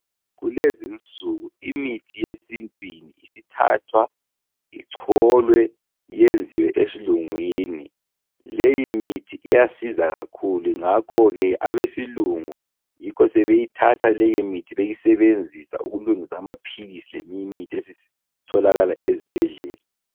Kulezinsuku imithi yesintwini isithathwa icholwe iyenziwe esilungwini. Leyimithi iyasiza kakhulu ngakho ke abesilungu yikho sebeyithatha leyimithi beyisebenzisa ukulungisa amaphilisi leminye imithi esitholakala izibhedlela.